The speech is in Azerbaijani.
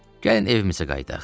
Gəlin evimizə qayıdaq.